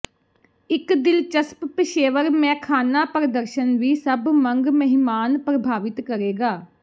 ਇੱਕ ਦਿਲਚਸਪ ਪੇਸ਼ੇਵਰ ਮੈਖ਼ਾਨਾ ਪ੍ਰਦਰਸ਼ਨ ਵੀ ਸਭ ਮੰਗ ਮਹਿਮਾਨ ਪ੍ਰਭਾਵਿਤ ਕਰੇਗਾ